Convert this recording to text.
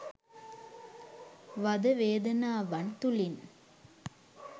වද වේදනාවන් තුළින්